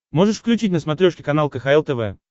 можешь включить на смотрешке канал кхл тв